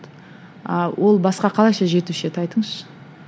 ыыы ол басқа қалайша жетуші еді айтыңызшы